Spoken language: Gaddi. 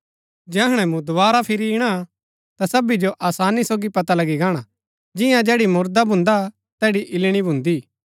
जैहणै मूँ दोवारा फिरी इणा ता सबी जो आसानी सोगी पता लगी गाणा जियां जैड़ी मुरदा भुन्दा तैड़ी इल्लणी भुन्दी